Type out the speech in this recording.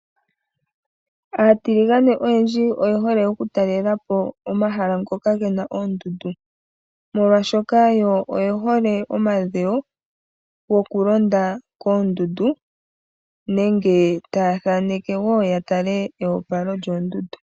Aatiligane oyendji oye hole okutalelapo omahala ngoka gena oondundu molwaashoka oye hole omadhewo gokulonda koondundu nenge taya thaneke woo yatale eyopalo lyoondundu.